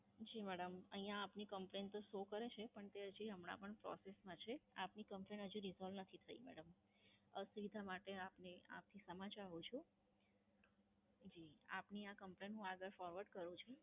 જી madam, અહિંયા આપની Complaint તો Show કરે છે, પણ તે હજી હમણાં પણ Process માં છે, આપની Complain હજી Resolve નથી થઈ મેડમ. અસુવિધા માટે આપની આપની ક્ષમા ચાહું છું. જી, આપની આ Complain હું આગળ Forward કરું છું.